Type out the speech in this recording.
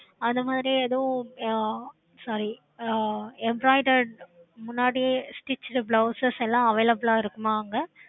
அந்தமாதிரி எதுவும் ஹம் soryy ஹம் embroiderd முன்னாடியே stretched blouse எல்லாம் available ஆஹ் இருக்குமா அங்க